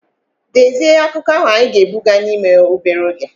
Dezie akụkọ ahụ anyị ga-ebuga n'ime obere oge!